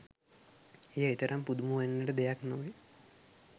එය එතරම් පුදුම වන්නට දෙයක් නොවේ